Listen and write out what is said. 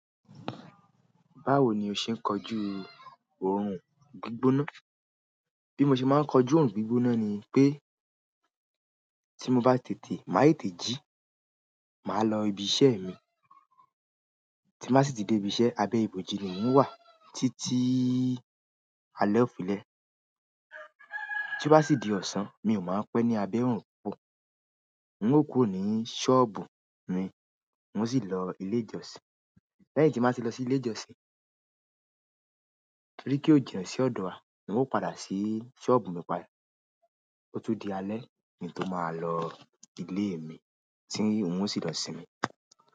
Báwo ni o ṣe ń kọjú òórùn gbígbóná? Bí mo ṣe máa ń kọjú òórùn gbígbóná ni pé tí mo bá tètè máa tètè jí, màá lọ ibi iṣẹ́ mi. Tí m ba sì ti dé ibi iṣẹ́ abẹ́ ìbòji ni mò ń wà títí alé òfi lé. Tí ó bá sì di ọ̀sán mi ò máa n pẹ́ ní abẹ́ òórùn púpọ̀ n ó kúrò ni ṣọ́ọ̀bù mi, n o sì lọ ilé ìjọsìn. Lẹ́yìn tí m ba ti lọ sí ilé ìjọsìn, torí kó jina si ọ̀dọ̀ wa n ó padà sí ṣọ́ọ̀bù mi padà. Ó tún di alẹ́ ni to máa lọ ilé mi tí n ó sì lọ sinmi.